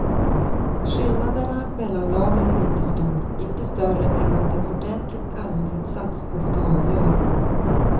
Skillnaderna mellan lagen är inte stor, inte större än att en ordentlig arbetsinsats ofta avgör.